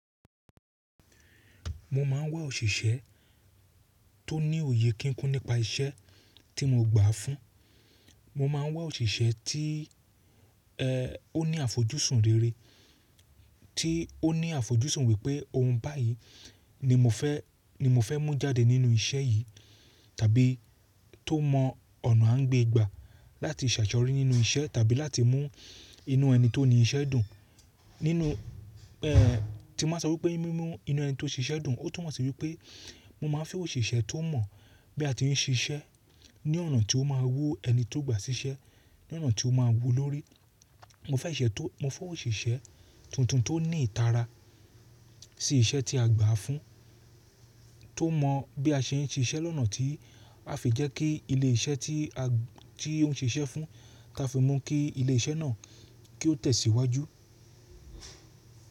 Mo máa ń wá òṣìṣẹ́ tó ní òye kíkún nípa iṣẹ́ tí mo gbà á fún. Mo máa ń wá òṣìṣẹ́ tí ó ní àfojúsùn rere, tí ó ní àfojúsùn wípé ohun báyìí ni mo fẹ́, ni mo fẹ́ mú jáde nínú iṣẹ́ yìí tàbí tó mọ ọ̀nà à ń gbé gbà láti ṣàṣeyorí nínú iṣẹ́ tàbí láti mú inú ẹni tó ní iṣẹ́ dùn. Nínú tí mo báa sọ wípé mímú inú ẹni tó ń ṣe iṣẹ́ dùn, ó tún mọ̀ sí wípé mo máa fẹ́ òṣìṣẹ́ tó mọ̀ bí a ti ń ṣe iṣẹ́ ní ọ̀nà tí ó máa wu ẹni tó gbà ṣiṣẹ́, ní ọ̀nà tí ó máa wu lórí. Mo fẹ́ ìṣe tó, mo fẹ́ òṣìṣẹ́ tuntun tó ní ìtara sí iṣẹ́ tí a gbà á fún, tó mọ̀ bí a ṣe ń ṣe iṣẹ́ lọ́nà tí a fi jẹ́ kí ilé iṣẹ́ tí a, tí ó ń ṣe iṣẹ́ fún, táa fi mọ̀ kí ilé iṣẹ́ náà kí ó tẹ̀ sí iwájú.